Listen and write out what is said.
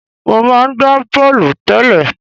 Mo máa ń gba bọ́ọ̀lù tẹ́lẹ̀.